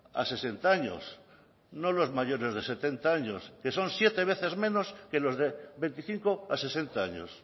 a sesenta años no los mayores de setenta años que son siete veces menos que los de veinticinco a sesenta años